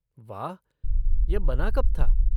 वाह, यह बना कब था।